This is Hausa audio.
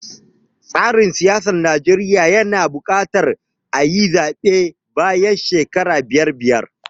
Tsarin siyasar Najeriya yana buƙatar ayi zaɓe bayan shekara biyar biyar.